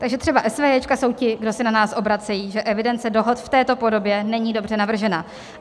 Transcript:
Takže třeba esvéjéčka jsou ti, kdo se na nás obracejí, že evidence dohod v této podobě není dobře navržena.